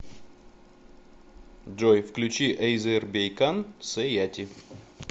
джой включи эйзербэйкан сэйати